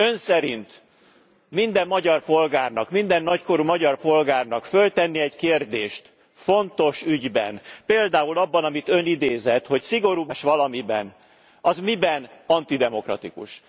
Ön szerint minden magyar polgárnak, minden nagykorú magyar polgárnak föltenni egy kérdést fontos ügyben, például abban, amit Ön idézett, hogy szigorúbb legye e a szabályozás valamiben, az miben antidemokratikus?